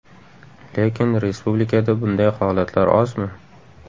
Lekin respublikada bunday holatlar ozmi?